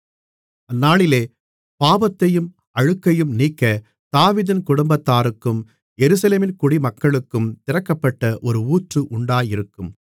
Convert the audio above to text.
அந்நாளிலே பாவத்தையும் அழுக்கையும் நீக்க தாவீதின் குடும்பத்தாருக்கும் எருசலேமின் குடிமக்களுக்கும் திறக்கப்பட்ட ஒரு ஊற்று உண்டாயிருக்கும்